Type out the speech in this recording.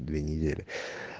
две недели